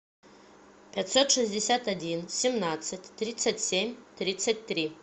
пятьсот шестьдесят один семнадцать тридцать семь тридцать три